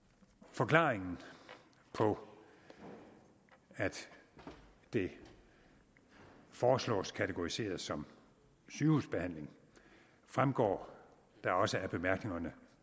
forklaringen på at det foreslås kategoriseret som sygehusbehandling fremgår da også af bemærkningerne